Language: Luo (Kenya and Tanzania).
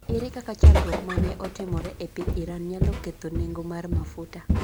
Ere kaka chandruok ma ne otimore e piny Iran nyalo ketho nengo mar mafuta?